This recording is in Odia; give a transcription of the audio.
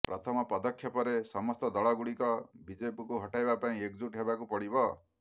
ପ୍ରଥମ ପଦକ୍ଷେପରେ ସମସ୍ତ ଦଳ ଗୁଡ଼ିକ ବିଜେପିକୁ ହଟାଇବା ପାଇଁ ଏକଜୁଟ୍ ହେବାକୁ ପଡ଼ିବ